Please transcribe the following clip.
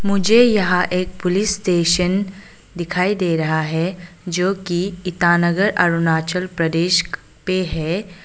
मुझे यहां एक पुलिस स्टेशन दिखाई दे रहा है जो की ईटानगर अरुणाचल प्रदेश पे है।